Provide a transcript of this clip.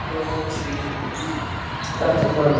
Ég var dapur og vonsvikinn þetta kvöld.